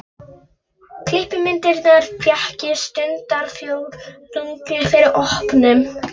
Klippimyndirnar fékk ég stundarfjórðungi fyrir opnun.